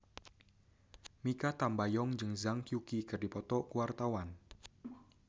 Mikha Tambayong jeung Zhang Yuqi keur dipoto ku wartawan